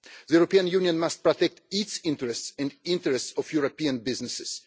The European Union must protect its interests and the interests of European businesses.